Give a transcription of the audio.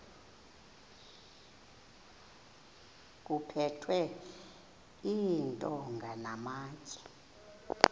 kuphethwe iintonga namatye